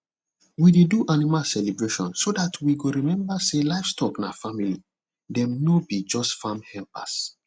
we dey do animal celebration so that we go remember say livestock na family dem no be just farm helpers